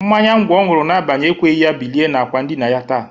Mmanya ngwọ ọ ñụrụ n'abalị ekweghi ya bilie n'akwa ndịna ya taa.